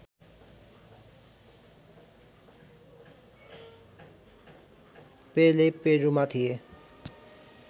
पेले पेरूमा थिए